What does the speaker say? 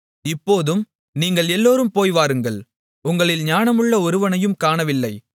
இப்போதும் நீங்கள் எல்லோரும் போய்வாருங்கள் உங்களில் ஞானமுள்ள ஒருவனையும் காணவில்லை